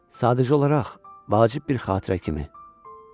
Sadəcə olaraq vacib bir xatirə kimi.